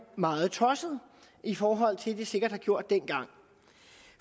meget tossede i forhold til hvad de sikkert har gjort dengang